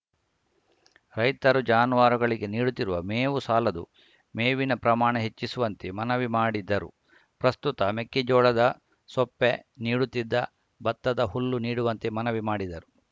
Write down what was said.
ರೈತರು ಜಾನುವಾರುಗಳಿಗೆ ನೀಡುತ್ತಿರುವ ಮೇವು ಸಾಲದು ಮೇವಿನ ಪ್ರಮಾಣ ಹೆಚ್ಚಿಸುವಂತೆ ಮನವಿ ಮಾಡಿದರು ಪ್ರಸ್ತುತ ಮೆಕ್ಕೆಜೋಳದ ಸೊಪ್ಪೆ ನೀಡುತ್ತಿದ್ದ ಭತ್ತದ ಹುಲ್ಲು ನೀಡುವಂತೆ ಮನವಿ ಮಾಡಿದರು